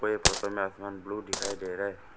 ये फोटो में आसमान ब्लू दिखाई दे रहा है।